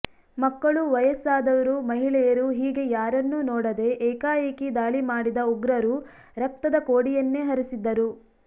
ಮಕ್ಕಳು ವಯಸ್ಸಾದವರು ಮಹಿಳೆಯರು ಹೀಗೆ ಯಾರನ್ನೂ ನೋಡದೆ ಏಕಾಏಕಿ ದಾಳಿ ಮಾಡಿದ ಉಗ್ರರು ರಕ್ತದ ಕೋಡಿಯನ್ನೇ ಹರಿಸಿದ್ದರು